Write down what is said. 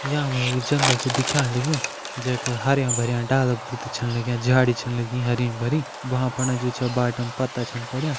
यां मा एक जंगल छ दिख्याण लग्युं। जै का हरयां भरयां डाला फुत छन लग्यां झाड़ी छन लगीं हरी भरी। वहां फंडा जु छ बाटम पत्ता छन पड्यां।